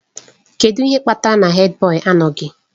Kedu ihe kpatara na Hèdbọyi anọghị?